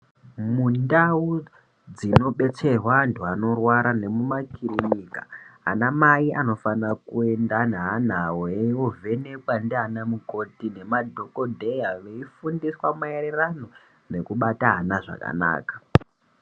Mundau dzinobeterwa antu anorwara nemuma kirinika anamai anofanira kuenda neana avo eivovhenekwa ndiana mukoti nemadhogodheya, veifundiswa maererano nekubata ana zvakanaka.